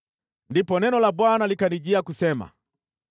Ndipo neno la Bwana likanijia kusema: